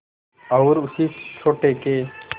और उसी सोटे के